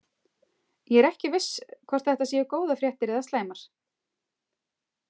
Ég er ekki viss hvort þetta séu góðar fréttir eða slæmar.